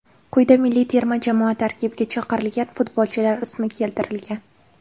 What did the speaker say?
Quyida milliy terma jamoa tarkibiga chaqirilgan futbolchilar ismi keltirilgan.